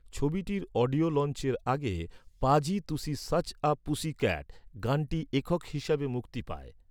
ছবিটির অডিও লঞ্চের আগে "Paaji tussi such a pussycat" গানটি একক হিসেবে মুক্তি পায়।